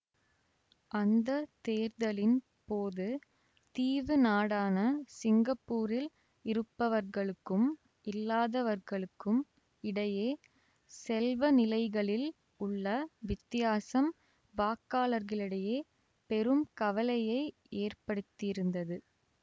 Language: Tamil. அந்த தேர்தலின் போது தீவு நாடான சிங்கப்பூரில் இருப்பவர்களுக்கும் இல்லாதவர்களுக்கும் இடையே செல்வ நிலைகளில் உள்ள வித்தியாசம் வாக்காளர்களிடையே பெரும் கவலையை ஏற்படுத்தியிருந்தது